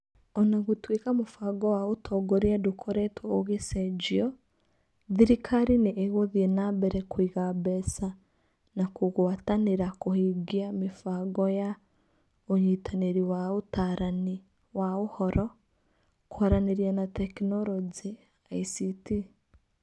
O na gũtuĩka mũbango wa ũtongoria ndũkoretwo ũgĩcenjio, thirikari nĩ ĩgũthiĩ na mbere kũiga mbeca na kũgwatanĩra kũhingia mĩbango ya ũnyitanĩri wa Ũtaarani wa Ũhoro, Kwaranĩria na Teknoroji (ICT).